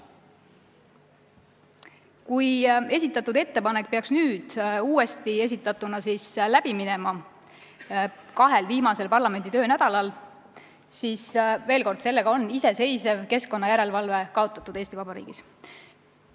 Kui esitatud ettepanek peaks uuesti esitatuna kahel viimasel parlamendi töönädalal läbi minema, siis, veel kord, sellega oleks iseseisev keskkonnajärelevalve Eesti Vabariigis kaotatud.